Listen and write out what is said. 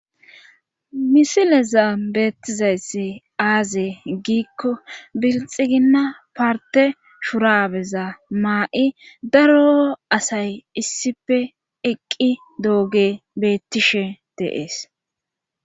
Misileza beettizayssi aaze giikko bilxiginna parte shurabeza maa'i daro asay issife eqqi dooge beettishe deees.